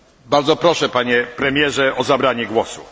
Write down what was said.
Bardzo proszę Panie Premierze o zabranie głosu!